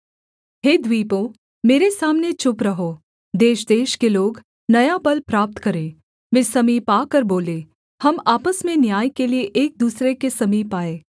हे द्वीपों मेरे सामने चुप रहो देशदेश के लोग नया बल प्राप्त करें वे समीप आकर बोलें हम आपस में न्याय के लिये एक दूसरे के समीप आएँ